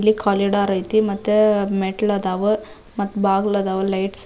ಇಲ್ಲಿ ಕಾಲಿ ಡೋರ್ ಐತಿ ಮತ್ತೆ ಮೆಟ್ಟಿಲು ಅದಾವು ಮತ್ತ ಬಾಗಿಲು ಆದವು ಲೈಟ್ಸ್ --